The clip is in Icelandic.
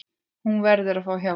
Hún verður að fá hjálp.